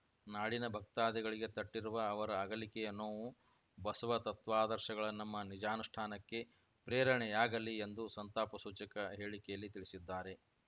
ನಾಡಿನ ಭಕ್ತಾದಿಗಳಿಗೆ ತಟ್ಟಿರುವ ಅವರ ಅಗಲಿಕೆಯ ನೋವು ಬಸವತತ್ವಾದರ್ಶಗಳ ನಮ್ಮ ನಿಜಾನುಷ್ಠಾನಕ್ಕೆ ಪ್ರೇರಣೆಯಾಗಲಿ ಎಂದು ಸಂತಾಪ ಸೂಚಕ ಹೇಳಿಕೆಯಲ್ಲಿ ತಿಳಿಸಿದ್ದಾರೆ